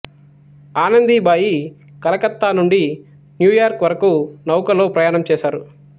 ఆనందీబాయి కలకత్తా నుండి న్యూయార్క్ వరకూ నౌకలో ప్రయాణం చేసారు